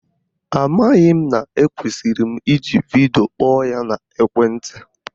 Amaghị m na ekwesiri m iji vidio kpọọ ya n'ekwenti